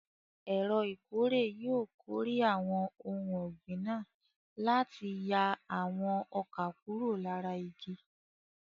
Ẹ̀rọ ìkórè yóò kórè àwọn ohun ọ̀gbìn náà láti yà àwọn ọkà kúrò lára igi.